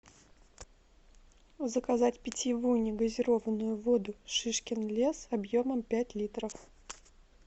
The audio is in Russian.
заказать питьевую негазированную воду шишкин лес объемом пять литров